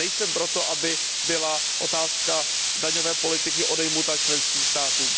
Nejsem pro to, aby byla otázka daňové politiky odejmuta členským státům.